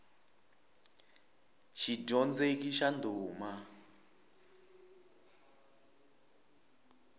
xidyondzeki xa ndhuma